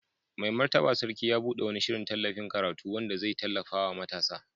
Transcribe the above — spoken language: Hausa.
Mai Martaba Sarki ya bude wani shirin tallafin karatu wanda zai tallafa wa matasa.